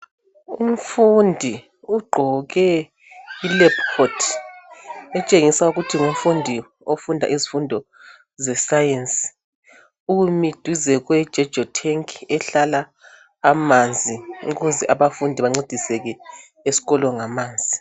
Umfundi ugqoke i- lab coat etshengisa ukuthi ngumfundi ofunda izifundo ze science. Umi duze kwe Jojo tank ehlala amanzi ukuze abafundi bancediseke esikolo ngamanzi.